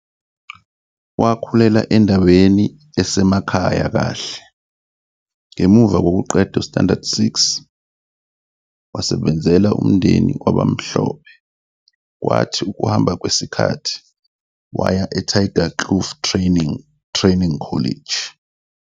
Wakhulela endaweni esemakhaya kahle. Ngemuva kokuqeda u-Standard 6, wasebenzela umndeni wabamhlophe kwathi ngokuhamba kwesikhathi waya eTygerkloof Training Training College.